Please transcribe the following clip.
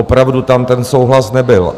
Opravdu tam ten souhlas nebyl.